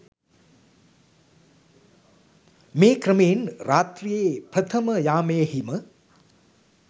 මේ ක්‍රමයෙන් රාත්‍රියේ ප්‍රථම යාමයෙහි ම